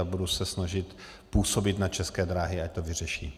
A budu se snažit působit na České dráhy, ať to vyřeší.